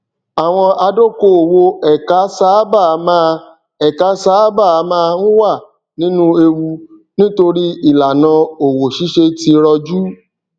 àwọn adókòwò ẹka sáábà máa ẹka sáábà máa ń wà nínú ewu nítorí ìlànà òwò ṣíṣe ti rọ jù